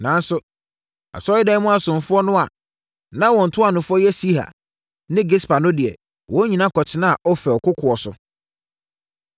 Nanso, Asɔredan mu asomfoɔ no a na wɔn ntuanofoɔ yɛ Siha ne Gispa no deɛ, wɔn nyinaa kɔtenaa Ofel kokoɔ so.